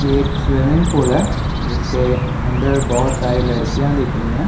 ये एक swimming pool है जिसके अन्दर बहुत सारी लडकियाँ दिख रही हैं ।